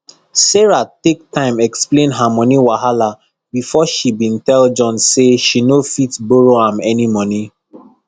sarah take time explain her money wahala before she been tell john say she no fit borrow am any money